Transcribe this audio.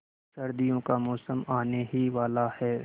सर्दियों का मौसम आने ही वाला है